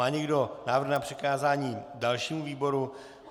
Má někdo návrh na přikázání dalšímu výboru?